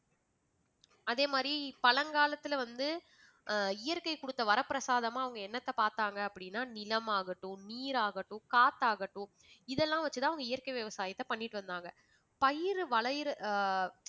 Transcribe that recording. அதே மாதிரி பழங்காலத்தில வந்து ஆஹ் இயற்கை குடுத்த வரப்பிரசாதமா அவங்க என்னத்த பாத்தாங்க அப்படின்னா நிலமாகட்டும் நீராகட்டும் காத்தாகட்டும் இதெல்லாம் வெச்சுதான் அவங்க இயற்கை விவசாயத்தை பண்ணிட்டு வந்தாங்க. பயிறு ஆஹ்